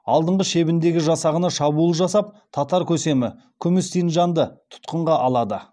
алдыңғы шебіндегі жасағына шабуыл жасап татар көсемі күміс синджанды тұтқынға алады